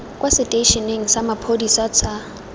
kwa seteišeneng sa maphodisa sa